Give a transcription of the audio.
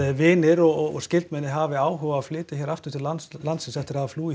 vinir og skyldmenni hafi áhuga á að flytja hingað aftur til landsins landsins eftir að flúið